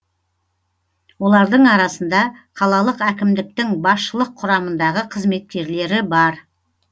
олардың арасында қалалық әкімдіктің басшылық құрамындағы қызметкерлері бар